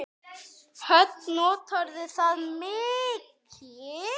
Hödd: Notarðu það mikið?